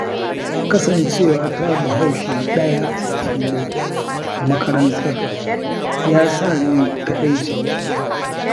Kasancewata Bahaushe ɗaya tilo a makarantar, ya sa ni kaɗaici.